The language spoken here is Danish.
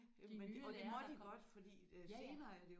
Jamen og det er ja ja